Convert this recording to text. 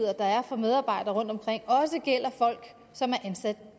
der er for medarbejdere rundtomkring også gælder folk som er ansat